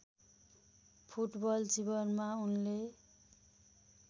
football जीवनमा उनले